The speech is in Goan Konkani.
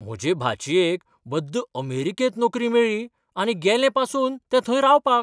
म्हजे भाचयेक बद्द अमेरिकेंत नोकरी मेळ्ळी आनी गेलें पासून तें थंय रावपाक.